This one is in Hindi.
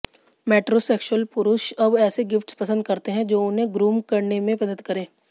मेट्रोसेक्शुअल पुरुष अब ऐसे गिफ्ट्स पसंद करते हैं जो उन्हें ग्रूम करने में मदद करे